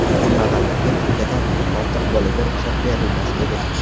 Kambag‘allarga bittadan ortiq bolaga ruxsat berilmas edi.